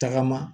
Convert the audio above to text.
Tagama